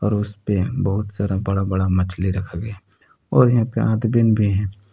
और उसपे बहुत सारा बड़ा बड़ा मछली रखा गया है और यहां पे आदमीन भी हैं।